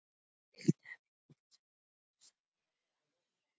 Viltu að við biðjum saman fyrir sálu Halldóru?